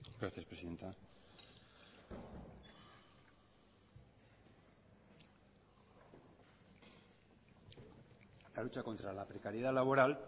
gracias presidenta la lucha contra la precariedad laboral